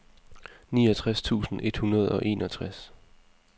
niogtres tusind et hundrede og enogtres